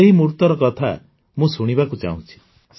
ସେହି ମୁହୁର୍ତର କଥା ମୁଁ ଶୁଣିବାକୁ ଚାହୁଁଛି